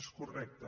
és correcte